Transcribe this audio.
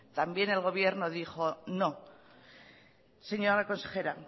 también el gobierno dijo que no señora consejera